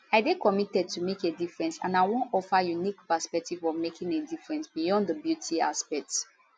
i dey committed to make a difference and i wan offer unique perspective of making a difference beyond di beauty aspect